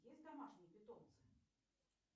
есть домашние питомцы